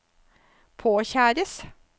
påkjæres